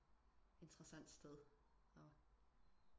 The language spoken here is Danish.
Interessant sted og